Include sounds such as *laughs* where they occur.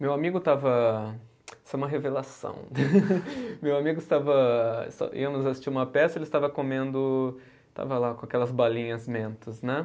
Meu amigo estava, isso é uma revelação, *laughs* meu amigo estava, *unintelligible* íamos assistir uma peça e ele estava comendo, estava lá com aquelas balinhas mentos, né?